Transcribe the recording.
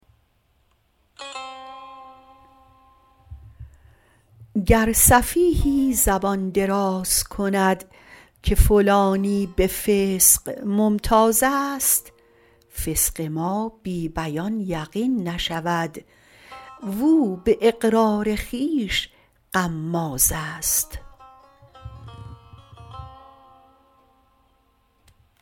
گر سفیهی زبان دراز کند که فلانی به فسق ممتازست فسق ما بی بیان یقین نشود و او به اقرار خویش غمازست